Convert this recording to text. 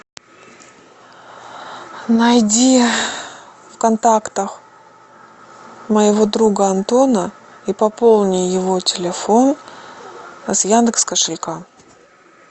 найди в контактах моего друга антона и пополни его телефон с яндекс кошелька